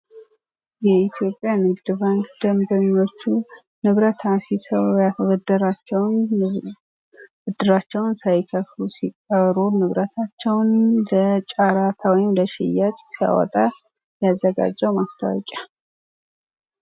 የኢትዮጵያ ንግድ ባንክ ንብረት አስይዘው ያበደራቸውን ብድራቸውን ሳይከፍሉ ሲቀሩ ንብረታቸውን ለጫራታ ወይም ለሽያጭ ሲያወጣ ያዘጋጀው ማስታወቂያ ነው።